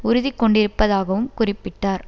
உறுதி கொண்டிருப்பதாகவும் குறிப்பிட்டார்